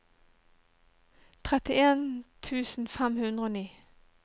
trettien tusen fem hundre og ni